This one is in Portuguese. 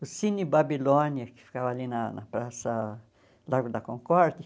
O Cine Babilônia, que ficava ali na na Praça Largo da Concórdia.